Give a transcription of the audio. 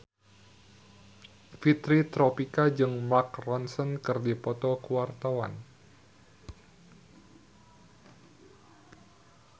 Fitri Tropika jeung Mark Ronson keur dipoto ku wartawan